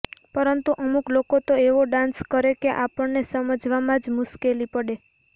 પરંતુ અમુક લોકો તો એવો ડાન્સ કરે કે આપણને સમજવામાં જ મુશ્કેલી પડે